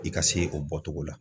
I ka se o bɔtogo la